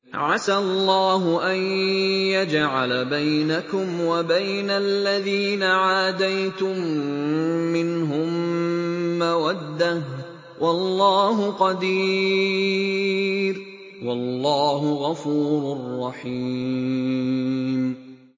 ۞ عَسَى اللَّهُ أَن يَجْعَلَ بَيْنَكُمْ وَبَيْنَ الَّذِينَ عَادَيْتُم مِّنْهُم مَّوَدَّةً ۚ وَاللَّهُ قَدِيرٌ ۚ وَاللَّهُ غَفُورٌ رَّحِيمٌ